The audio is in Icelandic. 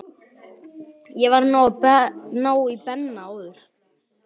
Ég varð að ná í Benna áður.